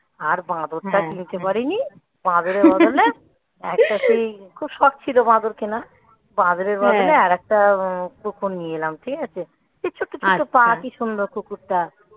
আর বাঁদরটা কিনতে পারিনি. বাঁদরের বদলে একটা সেই খুব শখ ছিল বাঁদর কেনা বাঁদরের বদলে আর একটা কুকুর নিয়ে এলাম ঠিক আছে. এই ছোট্ট ছোট্ট পা কি সুন্দর কুকুরটা.